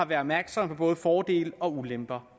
været opmærksomme på både fordele og ulemper